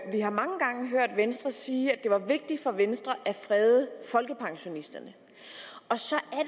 har mange gange hørt venstre sige at det var vigtigt for venstre at frede folkepensionisterne så